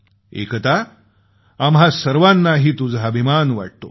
एकता आम्हा सर्वांनाही तुझा अभिमान वाटतो